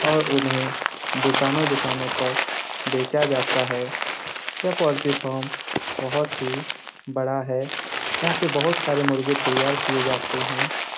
और उन्हें दुकानों दुकानों तक बेचा जाता है यह पोल्ट्री फार्म बहुत ही बड़ा है यहाँ पे बहुत सारे मुर्गे तैयार किये जाते हैं ।